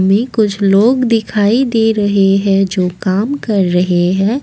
में कुछ लोग दिखाई दे रहे हैं जो काम कर रहे हैं।